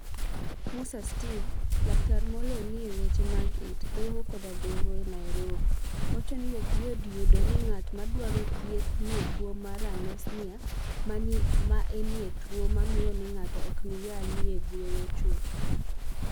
Musa Steve, laktar moloniy e weche mag it, dhoho, koda dhoho (EniT) e niairobi, wacho nii ok yot yudo nig'at madwaro thieth ni e tuwo mar Anosmia, ma eni tuwo mamiyo nig'ato ok niyal nig'ueyo chuth.